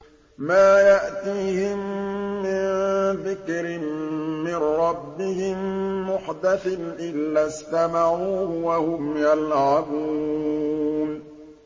مَا يَأْتِيهِم مِّن ذِكْرٍ مِّن رَّبِّهِم مُّحْدَثٍ إِلَّا اسْتَمَعُوهُ وَهُمْ يَلْعَبُونَ